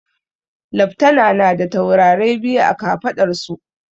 Leftana na da taurarai biyu a kafaɗar su